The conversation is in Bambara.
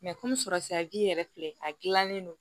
komi sɔrɔ siraji yɛrɛ filɛ a gilannen don